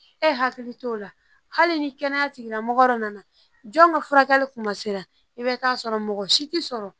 E hakili t'o la hali ni kɛnɛya tigila mɔgɔ nana jɔn ka furakɛli kuma sera i bɛ taa sɔrɔ mɔgɔ si tɛ sɔrɔ